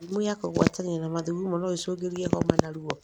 Mĩrimũ ya kũgwatanio na mathugumo noĩcũngĩrĩrie homa na ruo